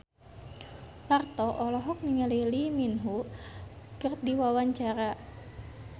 Parto olohok ningali Lee Min Ho keur diwawancara